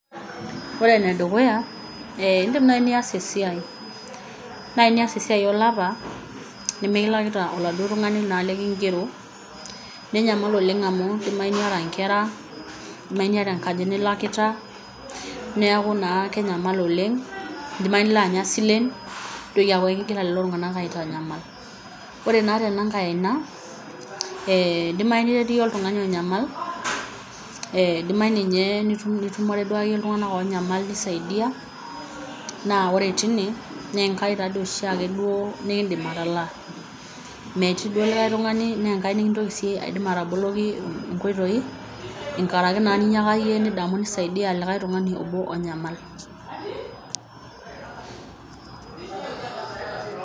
Ore ene dukuya indim naaji niyas esiai, nias esiai olapa nimikilakita naaji oladuo tungani lokigero ninyamalu oleng' amu idimayu niata inkera, niyata enkaji nilakita neeku naa kenyamal oleng', nidimayu nilo anya isilen nitoki aaku ekigira lelo tung'anak aitanyamal. Ore naa tenaai aina we edimayu niret iyie oltung'ani onyamal edimayu ninye nitumore iltung'anak oonyamal nisaidia naa ore tine naa enkai taadoi oshiak nikiidim atalaa, metii doi likae tungani naa Enkai nikiidim ataboloki inkoitoi enkaraki ninyiiaka iyie nidamu nisaidia likae tungani obo onyamal.